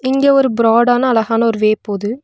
இங்க ஒரு பிராடான அழகான ஒரு வே போது.